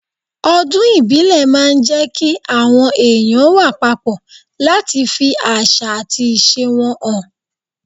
Ọdún ìbílẹ̀ máa ń jẹ́ kí àwọn èèyàn wà papọ̀ láti fi àṣà àti ìṣe wọn hàn.